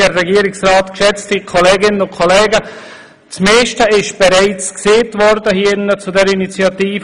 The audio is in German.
Das meiste zu dieser Initiative wurde bereits gesagt.